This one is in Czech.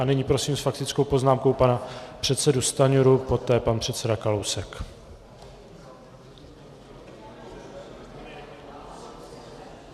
A nyní prosím s faktickou poznámkou pana předsedu Stanjuru, poté pan předseda Kalousek.